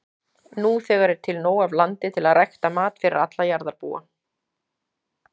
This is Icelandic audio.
Nú þegar er til nóg af landi til að rækta mat fyrir alla jarðarbúa.